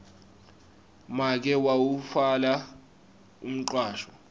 make wawutfwala umcwasho